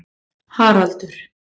Haraldur